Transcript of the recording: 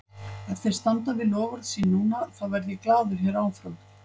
Ef þeir standa við loforð sín núna, þá verð ég glaður hér áfram.